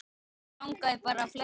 Mig langaði bara að fletta